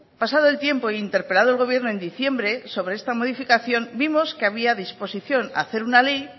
pasado el tiempo e interpelado el gobierno en diciembre sobre esta modificación vimos que había disposición a hacer una ley